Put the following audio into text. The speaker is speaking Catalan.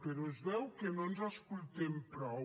però es veu que no ens escoltem prou